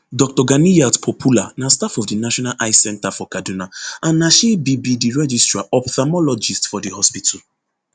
dr ganiyat popoola na staff of di national eye centre for kaduna and na she be be di registrar ophthalmologist for di hospital